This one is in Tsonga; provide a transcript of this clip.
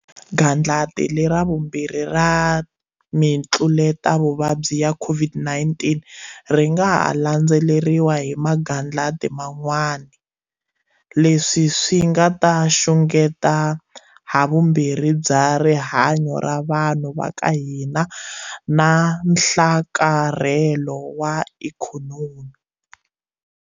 Gandlati lera vumbirhi ra mitluletavuvabyi ya COVID-19 ri nga ha landzeriwa hi magandlati man'wana, leswi swi nga ta xungeta havumbirhi bya rihanyu ra vanhu va ka hina na nhlakarhelo wa ikhonomi.